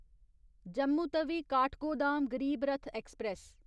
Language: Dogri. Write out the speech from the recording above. जम्मू तवी काठगोदाम गरीब रथ ऐक्सप्रैस